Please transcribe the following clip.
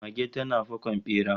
Mage tana fakon bera